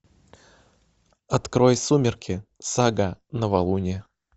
открой сумерки сага новолуние